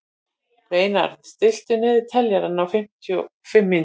Reynarð, stilltu niðurteljara á fimmtíu og fimm mínútur.